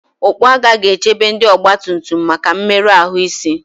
okpu agha ga-echebe ndị ọgbatumtum maka mmerụ ahụ isi